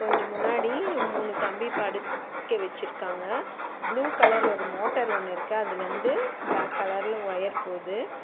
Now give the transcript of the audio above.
கொஞ்ஜோ முன்னாடி மூணு கம்பி படுக்க வெச்சிருக்காங்க ப்ளூ கலர் ஒரு மோட்டார் ஒன்னு இருக்கு அதுல இருந்து பிளாக் கலர்ல ஒரு வொயர் போது.